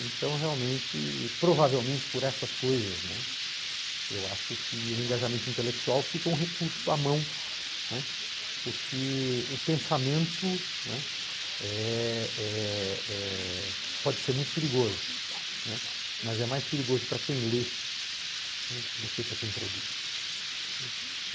Então realmente, provavelmente por essas coisas, né, eu acho que o engajamento intelectual fica um recurso à mão, não é, porque o pensamento, não é, eh eh eh pode ser muito perigoso, né, mas é mais perigoso para quem lê, né, do que para quem produz, né.